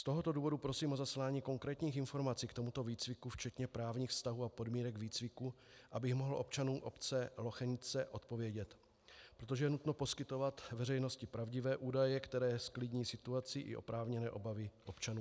Z tohoto důvodu prosím o zaslání konkrétních informací k tomuto výcviku včetně právních vztahů a podmínek výcviku, abych mohl občanům obce Lochenice odpovědět, protože je nutno poskytovat veřejnosti pravdivé údaje, které zklidní situaci i oprávněné obavy občanů.